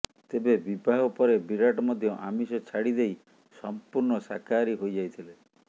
ତେବେ ବିବାହ ପରେ ବିରାଟ ମଧ୍ୟ ଆମିଷ ଛାଡ଼ିଦେଇ ସମ୍ପୂର୍ଣ୍ଣ ଶାକାହାରୀ ହୋଇଯାଇଥିଲେ